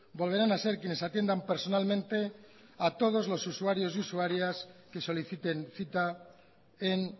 volverán a ser quienes atiendan personalmente a todos los usuarios y usuarias que soliciten cita en